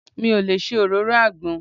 Mi ò lè ṣe òróró àgbọn.